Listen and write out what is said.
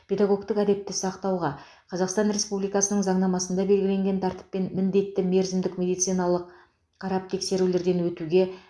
педагогтік әдепті сақтауға қазақстан республикасының заңнамасында белгіленген тәртіппен міндетті мерзімдік медициналық қарап тексерулерден өтуге